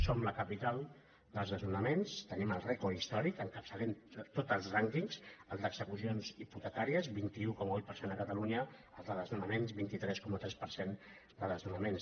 som la capital dels desnonaments en tenim el rècord histò·ric n’encapçalem tots els rànquings el d’execucions hipotecàries vint un coma vuit per cent a catalunya el de desnona·ments vint tres coma tres per cent de desnonaments